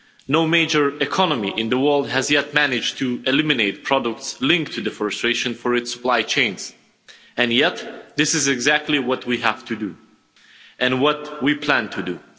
No major economy in the world has yet managed to eliminate products linked to deforestation for its supply chains, and yet this is exactly what we have to do and what we plan to do.